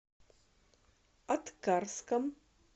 аткарском